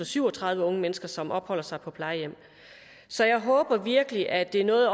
syv og tredive unge mennesker som opholder sig på plejehjem så jeg håber virkelig at det er noget